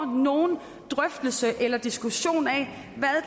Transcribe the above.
nogen drøftelse eller diskussion af